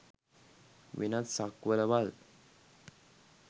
වෙනත් සක්වළවල්